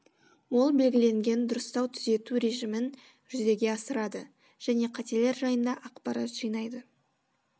ол белгіленген дұрыстау түзету режімін жүзеге асырады және қателер жайында ақпарат жинайды